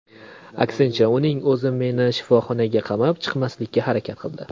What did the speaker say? Aksincha, uning o‘zi meni sinfxonaga qamab, chiqarmaslikka harakat qildi.